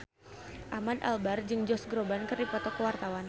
Ahmad Albar jeung Josh Groban keur dipoto ku wartawan